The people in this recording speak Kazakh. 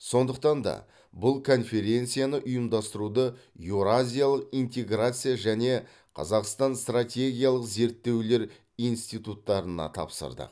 сондықтан да бұл конференцияны ұйымдастыруды еуразиялық интеграция және қазақстан стратегиялық зерттеулер институттарына тапсырдық